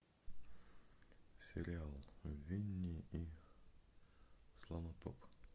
сериал винни и слонотоп